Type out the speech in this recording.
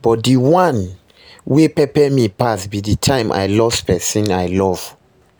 but dey one wey pepe me pass be di time i loss pesin i love.